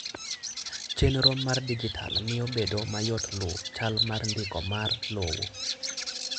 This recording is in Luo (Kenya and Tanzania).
Chenro mar dijital miyo bedo mayot luw chal mar ndiko mar lowo.